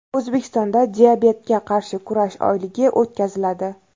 O‘zbekistonda diabetga qarshi kurash oyligi o‘tkaziladi.